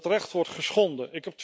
Dat recht wordt geschonden.